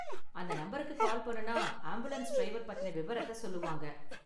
அந்த நம்பருக்கு கால் பண்ணுனா ஆம்புலன்ஸ் டிரைவர் பத்தின விவரத்த சொல்லுவாங்க.